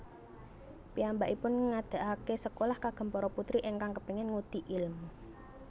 Piyambakipun ngadhegake sekolah kagem para putri ingkang kepengin ngudi ilmu